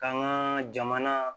K'an ka jamana